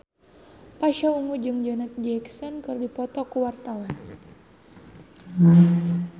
Pasha Ungu jeung Janet Jackson keur dipoto ku wartawan